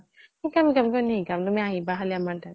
শিকাম শিকাম। কিয় নিশিকাম? তুমি আহিবা খালি আমাৰ তাত।